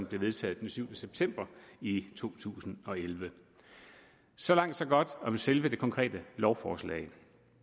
blev vedtaget den syvende september i to tusind og elleve så langt så godt om selve det konkrete lovforslag